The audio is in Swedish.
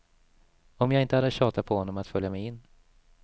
Om jag inte hade tjatat på honom att följa med in.